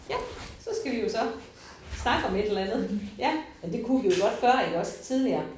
Ja så skal vi jo så snakke om et eller andet ja men det kunne vi jo godt før iggås tidligere